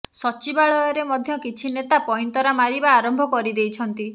ସଚିବାଳୟରେ ମଧ୍ୟ କିଛି ନେତା ପଇଁତରା ମାରିବା ଆରମ୍ଭ କରିଦେଇଛନ୍ତି